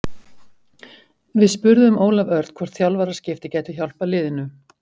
Við spurðum Ólaf Örn hvort þjálfaraskipti gætu hjálpað liðinu?